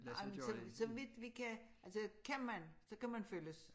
Ej men så så vidt vi kan altså kan man så kan man følges